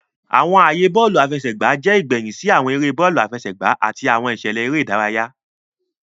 Awọn aaye bọọlu afẹsẹgba jẹ igbẹhin si awọn ere bọọlu afẹsẹgba ati awọn iṣẹlẹ ere idaraya.